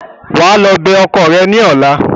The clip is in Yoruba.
Wà á lọ bẹ ọkọ ẹ ní ọla!